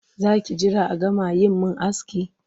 Za ki jira a gama yi min aski?